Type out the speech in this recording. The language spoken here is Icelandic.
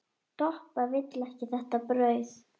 Doppa vill ekki þetta brauð.